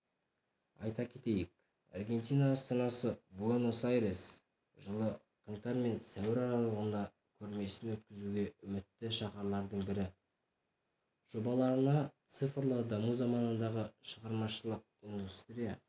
айта кетейік аргентина астанасы буэнос-айрес жылы қаңтар мен сәуір аралығында көрмесін өткізуге үмітті шаһарлардың бірі жобаларына цифрлы даму заманындағы шығармашылық индустрия